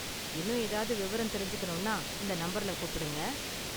இன்னும் ஏதாவது விவரம் தெரிஞ்சுக்கணும்னா இந்த நம்பர்ல கூப்பிடுங்க.